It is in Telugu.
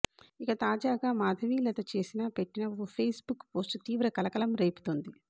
ఇక తాజాగా మాధవీలత చేసిన పెట్టిన ఓ ఫేస్ బుక్ పోస్టు తీవ్ర కలకలం రేపుతోంది